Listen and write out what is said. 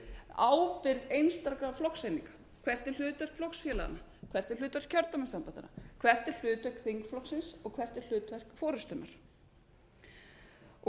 ábyrgð einstakra flokkseininga hvert er hlutverk flokkseininganna hvert er hlutverk kjördæmasambandanna hvert er hlutverk þingflokksins og hvert er hlutverk forustunnar